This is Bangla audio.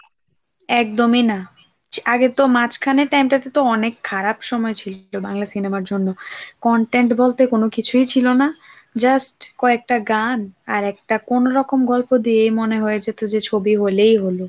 একদমই না আগে তো মাঝখানে time টাতে তো অনেক খারাপ সময় ছিল বাংলা সিনেমার জন্য content বলতে কোন কিছুই ছিল না just কয়েকটা গান আর একটা কোন রকম গল্প দিয়ে মনে হয়েছে তো যে ছবি হলেই হল।